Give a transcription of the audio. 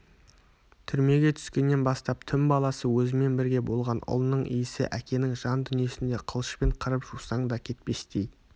түрмеге түскеннен бастап түн баласы өзімен бірге болған ұлының иісі әкенің жан дүниесіне қылышпен қырып жусаң да кетпестей